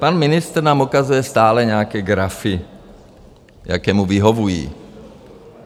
Pan ministr nám ukazuje stále nějaké grafy, jaké mu vyhovují.